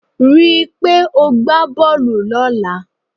Rí i pé o gbá bọ́ọ̀lù lọ́la.